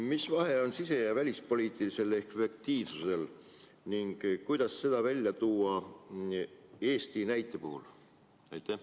Mis vahe on sise- ja välispoliitilisel efektiivsusel ning kuidas seda välja tuua Eesti näite puhul?